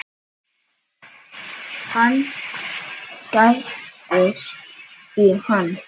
Hann gægist í hann.